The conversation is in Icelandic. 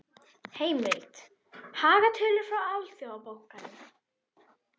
Heimild: Hagtölur frá Alþjóðabankanum.